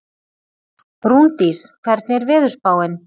Rúndís, hvernig er veðurspáin?